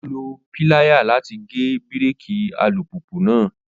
Ó lo piláyà láti gé bíréèkì alùpùpù náà